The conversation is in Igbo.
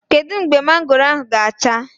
Kedu mgbe mangoro ahụ ga-acha?